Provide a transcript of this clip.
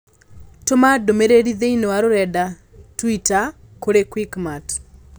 Tũma ndũmĩrĩri thĩinĩ wa rũrenda tũita kũrĩ Quickmart